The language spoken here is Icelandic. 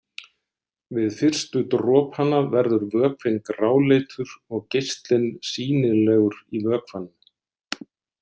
Við fyrstu dropana verður vökvinn gráleitur og geislinn sýnilegur í vökvanum.